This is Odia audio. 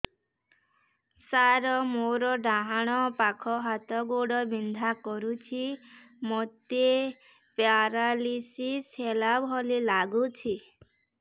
ସାର ମୋର ଡାହାଣ ପାଖ ହାତ ଗୋଡ଼ ବିନ୍ଧା କରୁଛି ମୋତେ ପେରାଲିଶିଶ ହେଲା ଭଳି ଲାଗୁଛି